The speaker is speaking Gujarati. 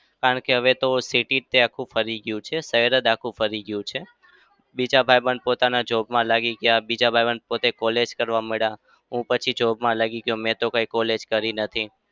કારણ કે હવે તો city જ તે છે આખું ફરી ગયું છે. શહેર જ આખું ફરી ગયું છે. બીજા ભાઈબંધ પોતાના job માં લાગી ગયા. બીજા ભાઈબંધ પોતે college કરવા માંડ્યા. હું પછી job માં લાગી ગયો. મેં તો કાંઈ college કરી નથી.